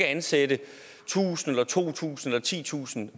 ansætte tusind eller to tusind eller titusind